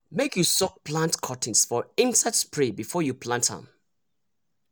make you soak plant cuttings for insect spray before you plant am.